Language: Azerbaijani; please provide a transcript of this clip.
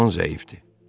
Yaman zəifdi.